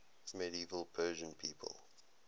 medieval persian people